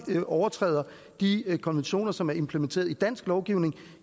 overtræder de konventioner som er implementeret i dansk lovgivning